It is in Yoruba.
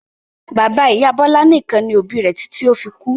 Bàbá-ìyá Bọlá nìkan ni òbí rẹ̀ títí ó fi kú.